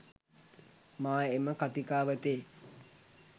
මා එම කතිකාවතේ